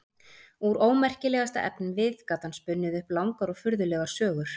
Úr ómerkilegasta efnivið gat hann spunnið upp langar og furðulegar sögur.